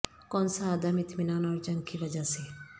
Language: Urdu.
کون سا عدم اطمینان اور جنگ کی وجہ سے